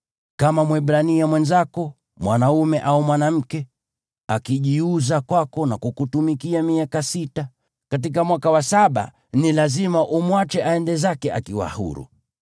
Kama Mwebrania mwenzako, mwanaume au mwanamke, akijiuza kwako na kukutumikia miaka sita, katika mwaka wa saba ni lazima umwache aende zake akiwa huru.